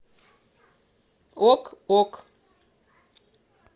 ок ок